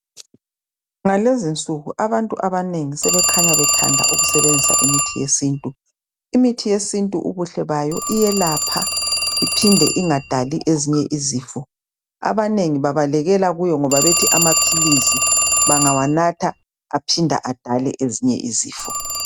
Ngalezinsuku abantu abanengi sebekhanya bethanda ukusebenzisa imithi yesintu. Imithi yesintu ubuhle bayo iyelapha iphinde ingadali ezinye izifo, abanengi babalekela kuyo ngoba bethi amaphilisi bangawanatha aphinde adale ezinye izifo.